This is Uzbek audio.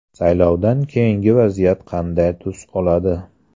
Saylovdan keyingi vaziyat qanday tus oladi?